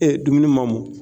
E dumuni ma mɔn.